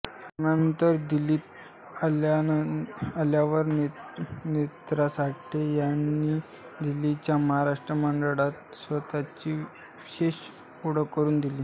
लग्नानंतर दिल्लीत आल्यावर नेत्रा साठे यांनी दिल्लीच्या महाराष्ट्र मंडळात स्वतःची विशेष ओळख करून दिली